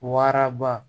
Waraba